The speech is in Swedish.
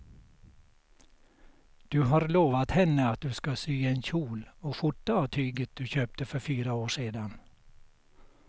Du har lovat henne att du ska sy en kjol och skjorta av tyget du köpte för fyra år sedan.